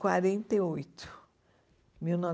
quarenta e oito. Mil